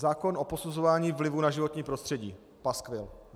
Zákon o posuzování vlivu na životní prostředí - paskvil.